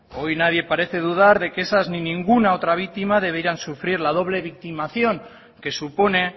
hoy nadie parece dudar de que esas ni ninguna otra víctima debieran sufrir la doble victimización que supone